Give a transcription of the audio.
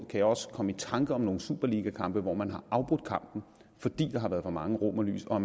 kan jeg også komme i tanke om nogle superligakampe hvor man har afbrudt kampene fordi der har været for mange romerlys og